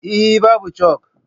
Eh, Babu chak